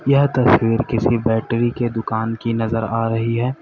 यह तस्वीर किसी बैटरी के दुकान की नजर आ रही है।